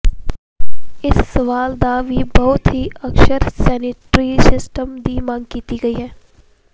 ਇਸ ਸਵਾਲ ਦਾ ਵੀ ਬਹੁਤ ਹੀ ਅਕਸਰ ਸਨਉਟਰੀਸਸਨਸਟਸ ਕੇ ਮੰਗ ਕੀਤੀ ਗਈ ਹੈ